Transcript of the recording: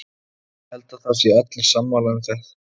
Ég held að það séu allir sammála um það.